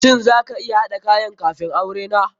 Shin za ka iya haɗa kayan kafun aure na?